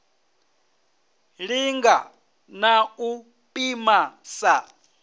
linga na u pima sa